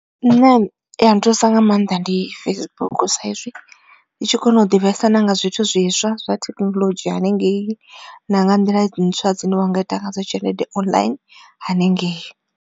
Ine ya nthusa nga maanḓa ndi Facebook sa izwi ndi tshi kona u ḓivhesa na nga zwithu zwiswa zwa thekhinolodzhi hanengei. Na nga nḓila ntswa dzine wa nga ita ngadzo tshelede online hanengei.